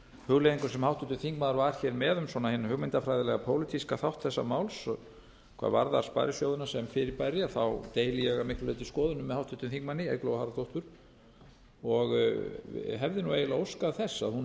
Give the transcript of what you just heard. hugleiðingum sem háttvirtur þingmaður var hér með um svona hinn hugmyndafræðilega pólitíska þátt þessa máls hvað varðar sparisjóðina sem fyrirbæri deili ég að miklu leyti skoðunum með háttvirtum þingmanni eygló harðardóttur og hefði nú eiginlega óskað þess að hún hefði